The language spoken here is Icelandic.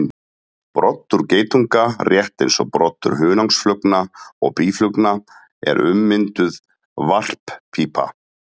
Broddur geitunga, rétt eins og broddur hunangsflugna og býflugna, er ummynduð varppípa.